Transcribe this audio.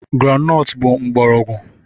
Groundnut bụ mgbọrọgwụ mgbọrọgwụ.